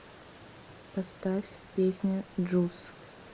поставь песня джус